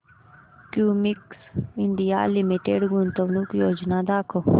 Cummins India limited गुंतवणूक योजना दाखव